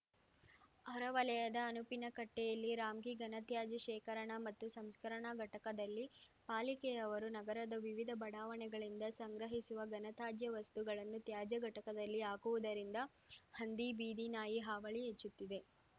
ಹೊರವಲಯದ ಅನುಪಿನಕಟ್ಟೆಯಲ್ಲಿ ರಾಮ್ಕಿ ಘನತ್ಯಾಜ್ಯ ಶೇಖರಣ ಮತ್ತು ಸಂಸ್ಕರಣ ಘಟಕದಲ್ಲಿ ಪಾಲಿಕೆಯವರು ನಗರ ವಿವಿಧ ಬಡಾವಣೆಗಳಿಂದ ಸಂಗ್ರಹಿಸುವ ಘನತಾಜ್ಯ ವಸ್ತುಗಳನ್ನು ತ್ಯಾಜ್ಯ ಘಟಕದಲ್ಲಿ ಹಾಕುವುದರಿಂದ ಹಂದಿ ಬೀದಿನಾಯಿ ಹಾವಳಿ ಹೆಚ್ಚುತ್ತಿದೆ